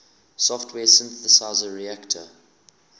software synthesizer reaktor